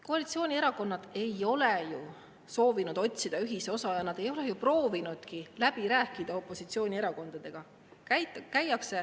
Koalitsioonierakonnad ei ole ju soovinud otsida ühisosa, nad ei ole proovinudki opositsioonierakondadega läbi rääkida.